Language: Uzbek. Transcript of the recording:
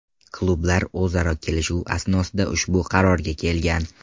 Klublar o‘zaro kelishuv asnosida ushbu qarorga kelgan.